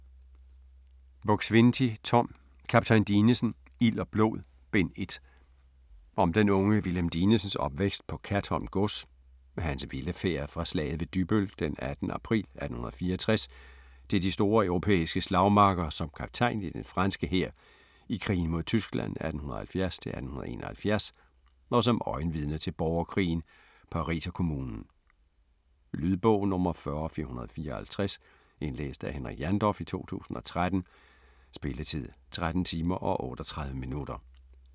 Buk-Swienty, Tom: Kaptajn Dinesen: Ild og blod: Bind 1 Om den unge Wilhelm Dinesens opvækst på Katholm Gods, hans vilde færd fra slaget ved Dybbøl den 18. april 1864 til de store europæiske slagmarker som kaptajn i den franske hær i krigen mod Tyskland 1870-1871 og som øjenvidne til borgerkrigen, Pariserkommunen. Lydbog 40454 Indlæst af Henrik Jandorf, 2013. Spilletid: 13 timer, 38 minutter.